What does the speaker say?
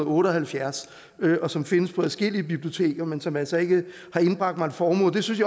otte og halvfjerds og som findes på adskillige biblioteker men som altså ikke har indbragt mig en formue det synes